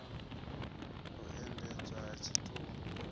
u endedzwa ha tshitumbu hu